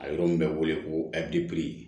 A yɔrɔ min bɛ wele ko abiri